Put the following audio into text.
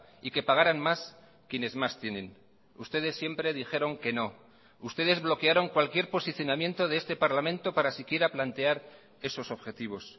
y que pagaran más quienes más tienen ustedes siempre dijeron que no ustedes bloquearon cualquier posicionamiento de este parlamento para siquiera plantear esos objetivos